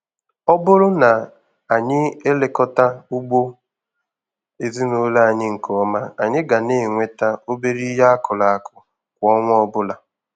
Ọ bụrụ na anyị elekọta ugbo ezinụlọ anyị nke ọma, anyị ga na-enweta obere ihe akụrụ akụ kwa ọnwa ọbụla.